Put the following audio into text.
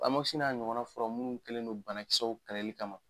n'a ɲɔgɔnna furaw munnu kɛlen don banakisɛw kɛlɛli kama.